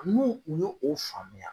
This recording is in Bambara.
N' u kun y'o o faamuya